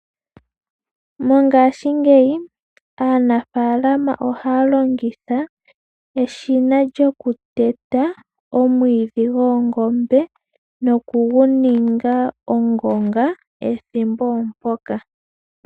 Mongaashi ngeyi aanafalama ohaalongitha eshina lyokuteta omwiidhi gwoongombe nokuguninga ongonga ethimbo mpoka.